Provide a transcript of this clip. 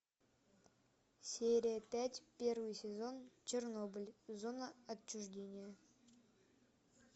серия пять первый сезон чернобыль зона отчуждения